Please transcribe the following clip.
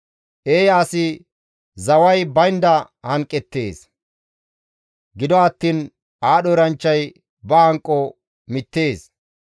Eeya asi zaway baynda hanqeettes; gido attiin aadho eranchchay ba hanqo mittees.